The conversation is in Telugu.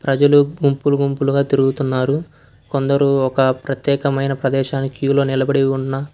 ప్రజలు గుంపులు గుంపులుగా తిరుగుతున్నారు కొందరు ఒక ప్రత్యేకమైన ప్రదేశానికి క్యూలో నిలబడి ఉన్న--